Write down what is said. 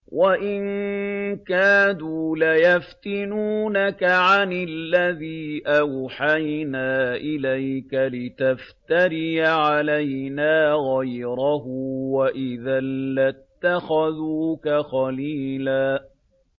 وَإِن كَادُوا لَيَفْتِنُونَكَ عَنِ الَّذِي أَوْحَيْنَا إِلَيْكَ لِتَفْتَرِيَ عَلَيْنَا غَيْرَهُ ۖ وَإِذًا لَّاتَّخَذُوكَ خَلِيلًا